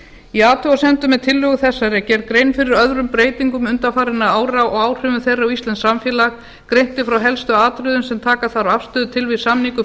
í athugasemdum með tillögu þessari er gerð grein fyrir árum breytingum undanfarinna ára og áhrifum þeirra á íslenskt samfélag greint er frá helstu atriðum sem taka þarf afstöðu til við samningu